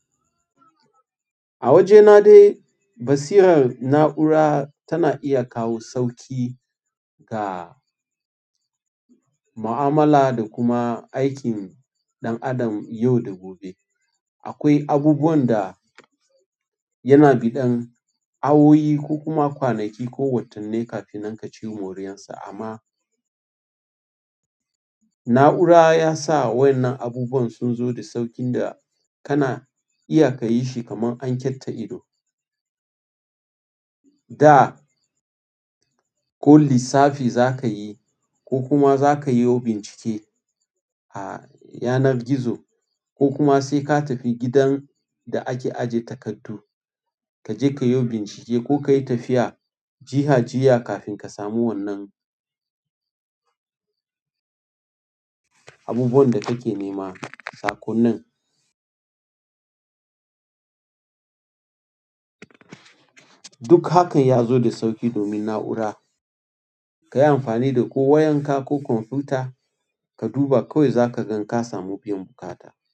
A wajena dai basirar na'ura tana iya kawo sauƙi ga ma'amala da kuma aikin ɗan adam yau da gobe. Akwai abubuwan da yana biɗan awoyi ko kuma kwanaki ko watannai kafin nan ka ci moriyarsa amma na'ura ya sa waƴannan abubuwan sun zo da sauƙin da kana iya ka yi shi kaman an ketta ido. Da ko lissafi za ka yi ko kuma za ka yio bincike a yanar gizo ko kuma sai ka tafi gidan da ake ajiye takardu, ka je ka yio bincike ko ka yi tafiya jiha jiha kafin ka samu wannan abubuwan da kake nema. Saƙonnin duk hakan ya zo da sauƙi domin na'ura. Ka yi amfani da ko wayan ko kwamfuta ka duba kawai za ka gan ka samu biyan buƙata.